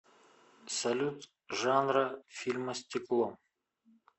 салют жанра фильма стекло